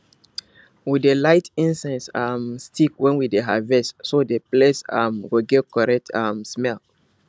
we dey light incense um stick when we dey harvest so the place um go get correct um smell